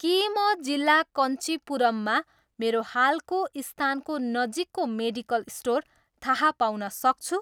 के म जिल्ला कञ्चिपुरममा मेरो हालको स्थानको नजिकको मेडिकल स्टोर थाहा पाउन सक्छु